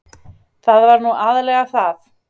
Það var nú aðallega það.